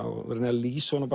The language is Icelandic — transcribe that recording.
og reyni að lýsa honum